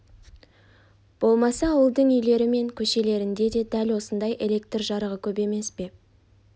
болмаса ауылдың үйлері мен көшелерінде де дәл осындай электр жарығы көп емес пе